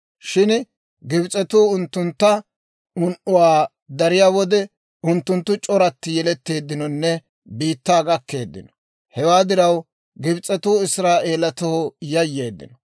Shin Gibs'etuu unttuntta un"uwaa dariyaa wode, unttunttu c'oratti yeletteeddinonne biittaa gakkeeddino. Hewaa diraw, Gibs'etuu Israa'eelatoo yayyeeddino;